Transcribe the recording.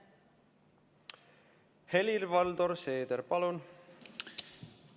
Helir-Valdor Seeder, palun!